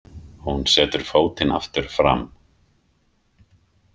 Hún setur fótinn aftur fram.